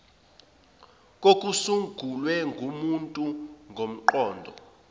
kokusungulwe ngumuntu ngomqondo